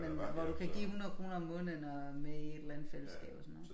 Men hvor du kan give 100 kroner om måneden og er med i et eller andet fælleskab og sådn noget